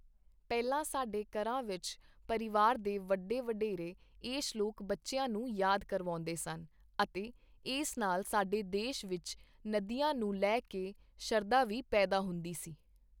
ਪਹਿਲਾਂ ਸਾਡੇ ਘਰਾਂ ਵਿੱਚ ਪਰਿਵਾਰ ਦੇ ਵੱਡੇ ਵਢੇਰੇ ਇਹ ਸ਼ਲੋਕ ਬੱਚਿਆਂ ਨੂੰ ਯਾਦ ਕਰਵਾਉਂਦੇ ਸਨ ਅਤੇ ਇਸ ਨਾਲ ਸਾਡੇ ਦੇਸ਼ ਵਿੱਚ ਨਦੀਆਂ ਨੂੰ ਲੈ ਕੇ ਸ਼ਰਧਾ ਵੀ ਪੈਦਾ ਹੁੰਦੀ ਸੀ।